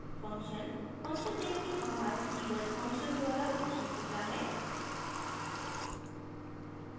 function function name के बाद keyword function द्वारा घोषित होता है